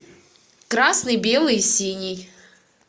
красный белый синий